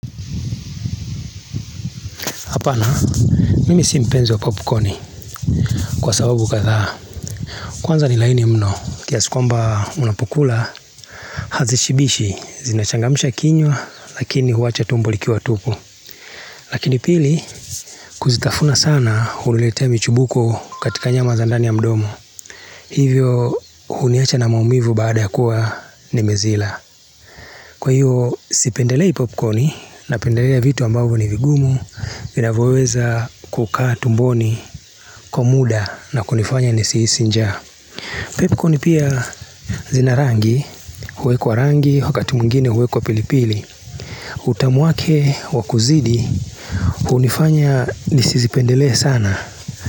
Hapana mimi simpenzi wa popcorni kwa sababu kadhaa kwanza ni laini mno kiasikwamba unapokula hazishibishi zinachangamisha kinywa lakini huwacha tumbo liki wa tupu Lakini pili kuzitafuna sana hunilete michubuko katika nyama zandani ya mdomo hivyo huniacha na maumivu baada ya kuwa ni mezila Kwa hiyo sipendelei popcorni na pendelea vitu ambavu ni vigumu, inavoeza kukaa tumboni, kwamuda na kunifanya nisihisi njaa Popcorni pia zinarangi, huwe kwa rangi, wakati mungine huwe kwa pilipili. Utamuake, wakuzidi, huunifanya nisi zipendele sana.